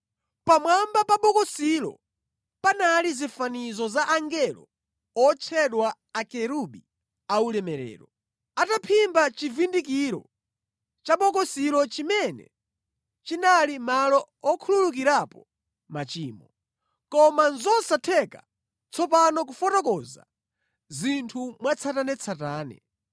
Pamwamba pa bokosilo panali zifanizo za angelo otchedwa akerubi aulemerero, ataphimba chivundikiro cha bokosilo chimene chinali malo okhululukirapo machimo. Koma nʼzosatheka tsopano kufotokoza zinthu mwatsatanetsatane.